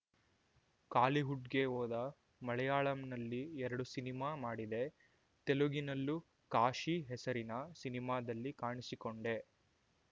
ಕಾಲಿವುಡ್‌ಗೆ ಹೋದ ಮಲಯಾಳಂನಲ್ಲಿ ಎರಡು ಸಿನಿಮಾ ಮಾಡಿದೆ ತೆಲುಗಿನಲ್ಲೂ ಕಾಶಿ ಹೆಸರಿನ ಸಿನಿಮಾದಲ್ಲಿ ಕಾಣಿಸಿಕೊಂಡೆ